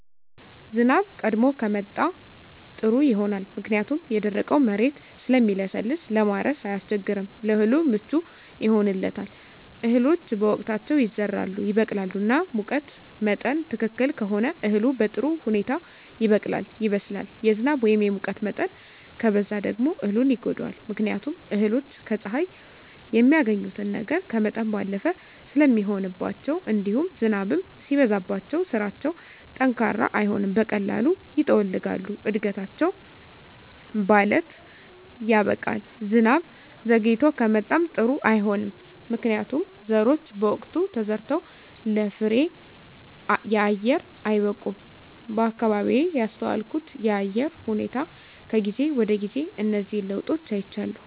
ዝናብ ቀድሞ ከመጣ ጥሩ ይሆናል ምክንያቱም የደረቀዉ መሬት ስለሚለሰልስ ለማረስ አያስቸግርም ለእህሉ ምቹ ይሆንለታል እህሎች በወቅታቸዉ ይዘራሉ ይበቅላሉ እና ሙቀት መጠን ትክክል ከሆነ እህሉ በጥሩ ሁኔታ ይበቅላል ይበስላል የዝናብ ወይም የሙቀት መጠን ከበዛ ደግሞ እህሉን ይጎዳዋል ምክንያቱም እህሎች ከፀሐይ የሚያገኙትን ነገር ከመጠን ባለፈ ስለሚሆንባቸዉእንዲሁም ዝናብም ሲበዛባቸዉ ስራቸዉ ጠንካራ አይሆንም በቀላሉ ይጠወልጋሉ እድገታቸዉ ባለት ያበቃል ዝናብ ዘይግቶ ከመጣም ጥሩ አይሆንም ምክንያቱም ዘሮች በወቅቱ ተዘርተዉ ለፍሬየአየር አይበቁም በአካባቢየ ያስተዋልኩት የአየር ሁኔታ ከጊዜ ወደጊዜ እነዚህን ለዉጦች አይቻለሁ